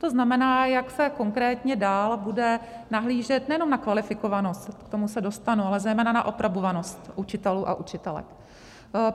To znamená, jak se konkrétně dál bude nahlížet nejenom na kvalifikovanost, k tomu se dostanu, ale zejména na aprobovanost učitelů a učitelek.